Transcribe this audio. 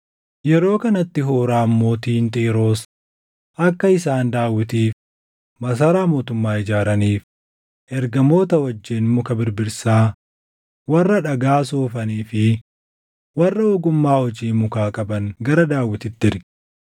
Yeroo kanatti Huuraam mootiin Xiiroos akka isaan Daawitiif masaraa mootummaa ijaaraniif ergamoota wajjin muka birbirsaa, warra dhagaa soofanii fi warra ogummaa hojii mukaa qaban gara Daawititti erge.